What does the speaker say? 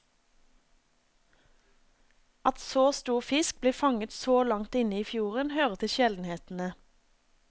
At så stor fisk blir fanget så langt inne i fjorden, hører til sjeldenhetene.